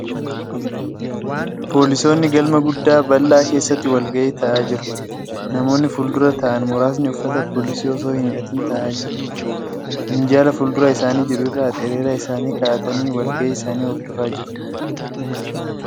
Poolisoonni galma guddaa bal'aa keessatti walga'ii taa'aa jiru. Namoonni fuuldura taa'an muraasni uffata poolisii osoo hin hidhatin taa'aa jiru. Minjaala fuuldura isaanii jiru irra axereeraa isaanii kaa'atanii walga'ii isaanii hordofaa jiru.